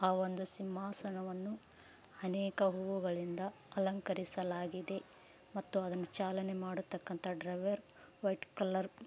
ಆ ಒಂದು ಸಿಂಹಾಸನವನ್ನು ಅನೇಕ ಹೂವುಗಳಿಂದ ಅಲಂಕರಿಸಲಾಗಿದೆ ಮತ್ತು ಅದನ್ನು ಚಾಲನೆ ಮಾಡುಕಂತಾ ಡ್ರೈವರ್‌ ವೈಟ್‌ ಕಲರ್‌